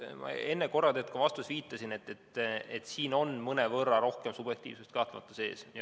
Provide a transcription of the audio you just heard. Ma enne korra tegelikult ka oma vastuses viitasin, et siin on kahtlemata mõnevõrra rohkem subjektiivsust sees.